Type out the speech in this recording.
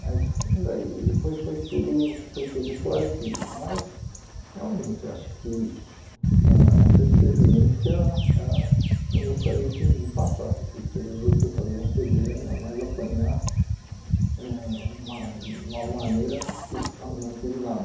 Mas daí foi foi tudo foi tudo esclarecido, mas realmente acho que ãh essa experiência ãh não gostaria que ninguém passasse, se preso por causa de um cê dê e ainda mais apanhar ãh uma de uma maneira que eu não fiz nada.